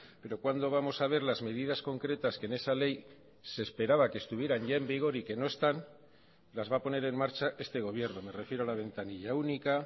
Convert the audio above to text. pero cuándo vamos a ver las medidas concretas que en esa ley se esperaba que estuvieran ya en vigor y que no están las va a poner en marcha este gobierno me refiero a la ventanilla única